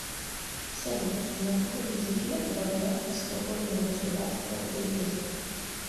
салют на каком языке говорят в свободное государство триест